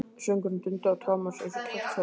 Söngurinn dundi á Thomas einsog kjaftshögg.